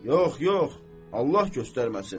Yox, yox, Allah göstərməsin.